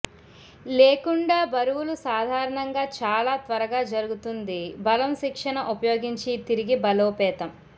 లేకుండా బరువులు సాధారణంగా చాలా త్వరగా జరుగుతుంది బలం శిక్షణ ఉపయోగించి తిరిగి బలోపేతం